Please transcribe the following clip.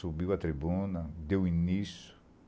Subiu a tribuna, deu início.